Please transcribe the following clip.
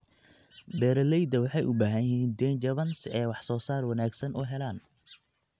Beeralayda waxay u baahan yihiin deyn jaban si ay wax soo saar wanaagsan u helaan.